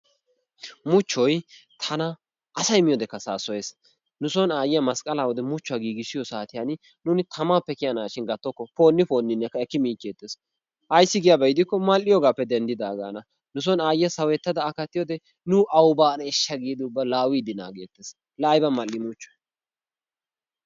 Muchchoy tana asay miyyoodekka saassoyees. nu son aayyiyaa masqqalaw muchchuwa giigissiyo saatiyaan nuun tamappe kiyanashin gattokko poni poninnekka eki miichetees ayssi giiko mal''iyoogappe denddidaagan. nu soon aayyiya sawettada a kattiyowode nu awu baaneshsha giidi ubba laawide naaggettees. la aybba mal''i muchchoy!